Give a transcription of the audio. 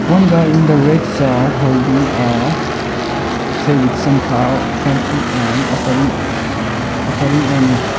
one guy in the red shirt holding a tray with some flower farm food and offering offering on it.